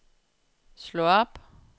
slå op